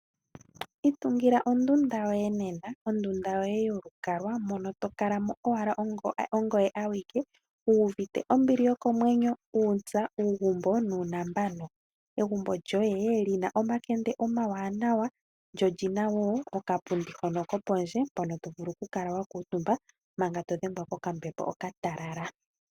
Itungila ondunda yoye nena, ondunda yoye yolukalwa mono tokala mo owala ongoye awike wu uvite ombili yokomwenyo, uuntsa, uugumbo nuunambano. Egumbo lyoye lina omakende omawanawa lyo olina wo okapundi hono kopondje mpono tovulu okukala wakuutumba manga todhengwa kokambepo okatalala.